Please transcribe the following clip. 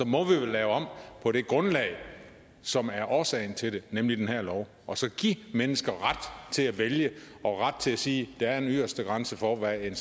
må vi vel lave om på det grundlag som er årsagen til det nemlig den her lov og så give mennesker ret til at vælge og ret til at sige at der er en yderste grænse for hvad en